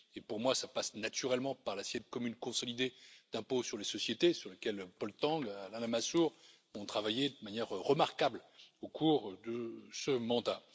Pour moi, cela passe naturellement par l'assiette commune consolidée d'impôt sur les sociétés, sur laquelle Paul Tang et Alain Lamassoure ont travaillé de manière remarquable au cours de ce mandat.